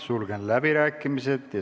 Sulgen läbirääkimised.